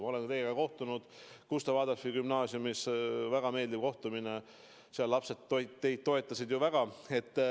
Ma olen teiega kohtunud Gustav Adolfi Gümnaasiumis – väga meeldiv kohtumine oli –, seal lapsed teid toetasid väga.